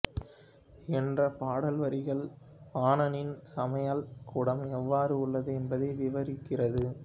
என்ற பாடல் வரிகளில் பாணனின் சமையல் கூடம் எவ்வறு உள்ளது என்பதை விவரிக்கிறது